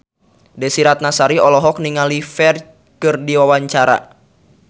Desy Ratnasari olohok ningali Ferdge keur diwawancara